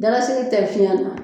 Dalasigi tɛ fiɲɛ na